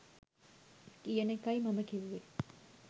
කියන එකයි මම කිව්වෙ